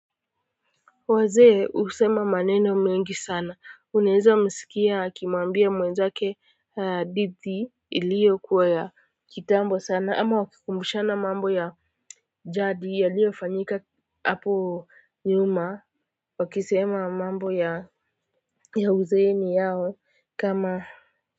Wazee husema maneno mengi sana unaeza msikia akimuambia mwenzake hadithi ilio kuwa ya kitambo sana ama wakikumbushana mambo ya jadi yaliofanyika hapo nyuma wakisema mambo ya ya uzeeni yao kama.